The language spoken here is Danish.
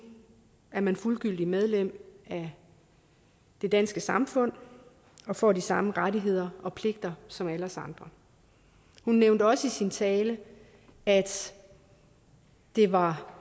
er man fuldgyldigt medlem af det danske samfund og får de samme rettigheder og pligter som alle os andre hun nævnte også i sin tale at det var